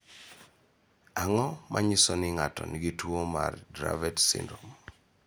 Ang�o ma nyiso ni ng�ato nigi tuo mar Dravet syndrome?